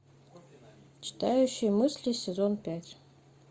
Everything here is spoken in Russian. читающий мысли сезон пять